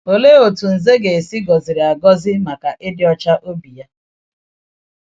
Òlee otú Ǹzè ga-esi gọziri agọzi maka ịdị ọcha obi ya?